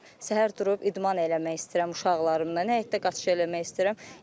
Səhər durub idman eləmək istəyirəm uşaqlarımdan, həyətdə qaçış eləmək istəyirəm.